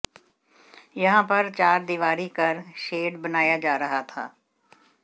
यहां पर चारदीवारी कर शेड बनाया जा रहा था